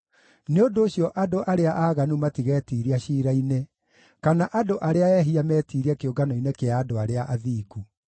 Nĩ ũndũ ũcio andũ arĩa aaganu matigetiiria ciira-inĩ, kana andũ arĩa ehia metiirie kĩũngano-inĩ kĩa andũ arĩa athingu.